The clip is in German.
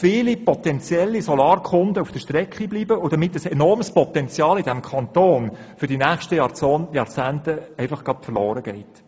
Viele potenzielle Solarkunden bleiben auf der Strecke, womit ein enormes Potenzial in diesem Kanton für die nächsten Jahrzehnte verloren geht.